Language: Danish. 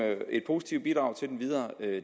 et positivt bidrag til den videre